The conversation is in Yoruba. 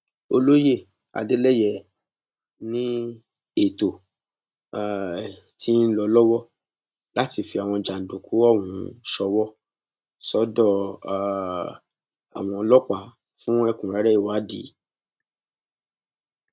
olóye adeleye ni ètò um ti ń lọ lọwọ láti fi àwọn jàǹdùkú ọhún ṣòwò sọdọ um àwọn ọlọpàá fún ẹkúnrẹrẹ ìwádìí